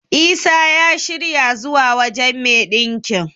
Isa ya shirya zuwa wajen me ɗinkin.